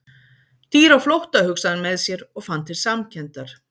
Dýr á flótta, hugsaði hann með sér, og fann til samkenndar.